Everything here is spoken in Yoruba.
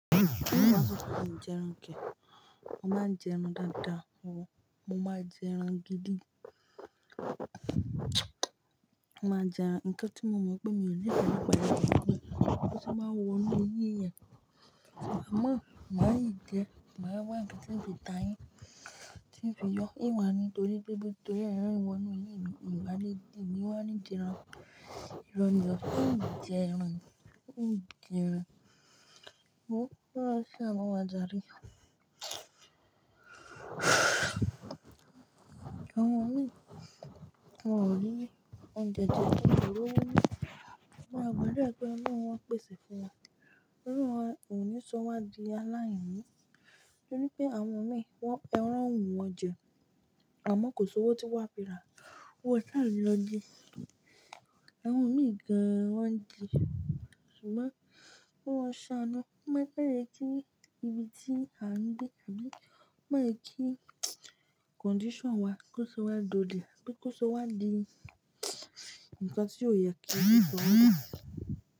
N wa sọ pe n jẹran kee. Mo máa ń jẹ ẹran dáadáa, mo máa jẹ ẹran gidi. Mo maa n jẹ ẹran, nkan ti mo mọ pe mii nífẹẹ nipa rẹ ni pe bo se máa wo inu ẹyin èèyàn. Àmọ́, màá yìí jẹ, màá wá nkan tíì fi ta yín, tíì fi yọ, hun wa ni torí ẹran wọ inú eyin mi, ìní wá ní jẹ ẹran, ìrọ̀ ni o, hun n jẹ ẹran, hun n jẹ ẹran. Wo kọlọrun saanu wa jare. Àwọn imi, wọn ò rí oúnjẹ, wọn ó rí owo na. Maa gbàdúrà pe ọlọrun o pèsè fún wọn, ọlọrun a ko ni sọ wá di aláìní, torí pé àwọn imi, ẹran wù wọ́n jẹ, àmọ́ kò sí owó tí wọ́n á fi rà. Wọn o saa ni lọ ji. Àwọn imi gan an wọ́n ń ji. Ṣùgbọ́n, k'ọlọrun saanu, ko maa jẹ kí ìbí tí à ń gbé, àbí ko máa jẹ kí condition wa kó sọ wá dole, pe kó sọ wá di ǹkan tí ó yẹ kí ó so wá da.